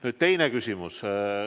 Nüüd teine küsimus.